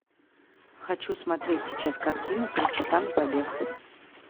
хочу смотреть сейчас картину три часа на побег